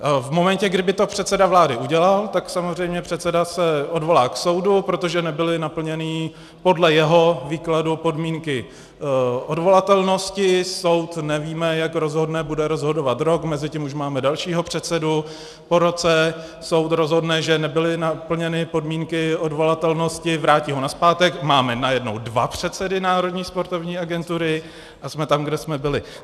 V momentě, kdy by to předseda vlády udělal, tak samozřejmě předseda se odvolá k soudu, protože nebyly naplněny podle jeho výkladu podmínky odvolatelnosti, soud nevíme, jak rozhodne, bude rozhodovat rok, mezitím už máme dalšího předsedu, po roce soud rozhodne, že nebyly naplněny podmínky odvolatelnosti, vrátí ho nazpátek, máme najednou dva předsedy Národní sportovní agentury a jsme tam, kde jsme byli.